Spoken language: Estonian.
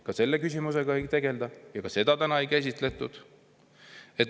Ka selle küsimusega ei tegelda ja ka seda täna ei käsitletud.